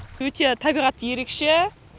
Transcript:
өте табиғаты ерекше